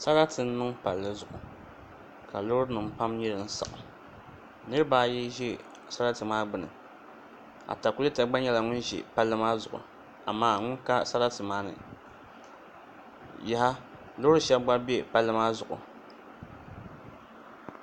Sarati n niŋ palli zuɣu ka loori nim pam nyɛ din saɣam niraba ayi ʒɛ sarati maa gbuni atakulɛta gba nyɛla ŋun ʒɛ palli maa zuɣu amaa ŋun ka sarati maa ni yaha loori shab gba bɛ palli maa zuɣu